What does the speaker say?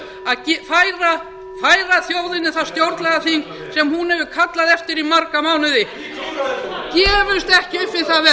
þjóðinni það stjórnlagaþing sem hún hefur kallað eftir í marga mánuði gefumst ekki upp við það verk gefumst ekki